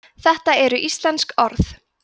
þetta eru íslensk orð